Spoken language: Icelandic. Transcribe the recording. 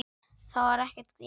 Þá er ég glaður.